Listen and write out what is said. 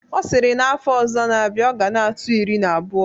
Ọ sịrị na afọ ọzọ na-abịa, ọ ga na-atụ iri na abụọ.